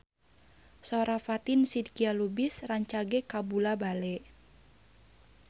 Sora Fatin Shidqia Lubis rancage kabula-bale